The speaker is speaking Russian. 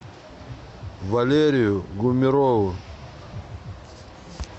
валерию гумерову